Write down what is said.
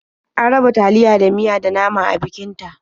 An raba taliya da miya da nama a bikin ta.